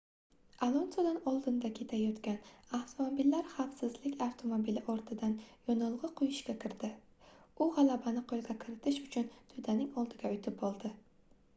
alonsodan oldinda ketayotgan avtomobillar xavfsizlik avtomobili ortidan yonilgʻi quyishga kirdi u gʻalabani qoʻlga kiritish uchun toʻdaning oldiga oʻtib oldi